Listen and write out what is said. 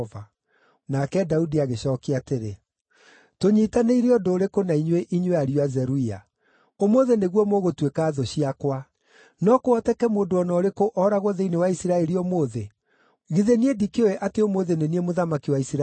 Nake Daudi agĩcookia atĩrĩ, “Tũnyiitanĩire ũndũ ũrĩkũ na inyuĩ, inyuĩ ariũ a Zeruia? Ũmũthĩ nĩguo mũgũtuĩka thũ ciakwa! No kũhoteke mũndũ o na ũrĩkũ ooragwo thĩinĩ wa Isiraeli ũmũthĩ? Githĩ niĩ ndikĩũĩ atĩ ũmũthĩ nĩ niĩ mũthamaki wa Isiraeli?”